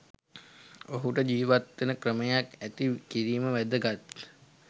ඔහුට ජිවත් වෙන ක්‍රමයක් ඇති කිරීම වැදගත්